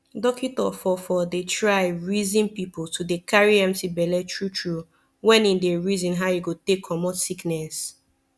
dockito for for dey try reson pple to dey carry empti belle tru tru wen him dey reson how e go take comot sickiness